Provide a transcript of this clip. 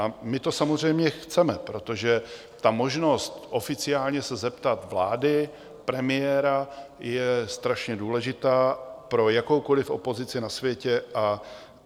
A my to samozřejmě chceme, protože ta možnost oficiálně se zeptat vlády, premiéra je strašně důležitá pro jakoukoliv opozici na světě.